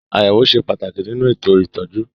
Àyẹ̀wò ṣe pàtàkì nínú ètò ìtọ́jú.